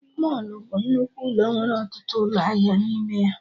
Mọlụ bụ nnukwu ụlọ nwere ọtụtụ ụlọ ahịa n'ime ya